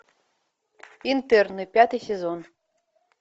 интерны пятый сезон